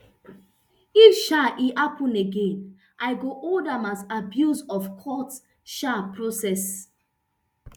if um e happen again i go hold am as abuse of court um process